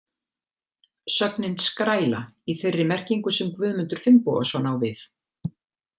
Sögnin skræla í þeirri merkingu sem Guðmundur Finnbogason á við.